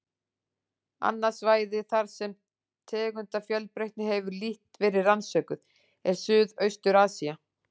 Annað svæði, þar sem tegundafjölbreytni hefur lítt verið rannsökuð, er Suðaustur-Asía.